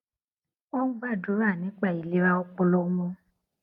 wón ń gbàdúrà nípa ìlera ọpọlọ wọn